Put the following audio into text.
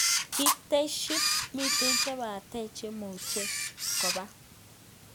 Kiteshi, miten chepatech chemucheng kopa.